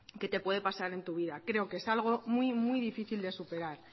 que te puede pasar en tu vida creo que es algo muy muy difícil de superar